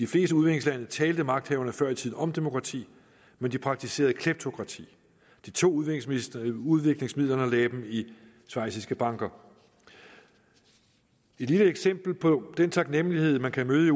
fleste udviklingslande talte magthaverne før i tiden om demokrati men de praktiserede kleptokrati de tog udviklingsmidlerne udviklingsmidlerne og lagde dem i schweiziske banker et lille eksempel på den taknemlighed man kan møde